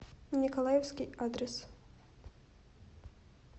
николаевский адрес